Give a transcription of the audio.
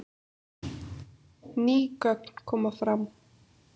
Ný gögn koma fram